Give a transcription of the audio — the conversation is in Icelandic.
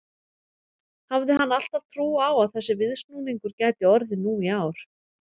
Hafði hann alltaf trú á að þessi viðsnúningur gæti orðið nú í ár?